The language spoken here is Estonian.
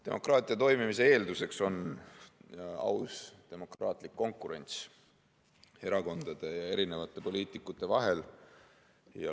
Demokraatia toimimise eeldus on aus demokraatlik konkurents erakondade ja poliitikute vahel.